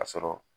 Ka sɔrɔ